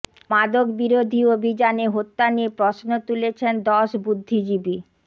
মাদক বিরোধী অভিযানে হত্যা নিয়ে প্রশ্ন তুলেছেন দশ বুদ্ধিজীবী